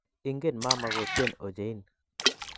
Ingen mama kotien ochein